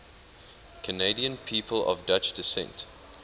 canadian people of dutch descent